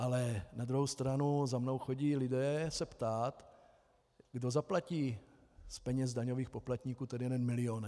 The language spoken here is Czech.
Ale na druhou stranu za mnou chodí lidé se ptát, kdo zaplatí z peněz daňových poplatníků ten jeden milion.